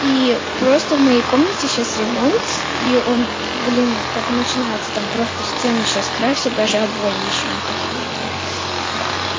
и просто в моей комнате сейчас ремонт и он блин только начинается там просто стены сейчас красят даже обои ещё не поклеили да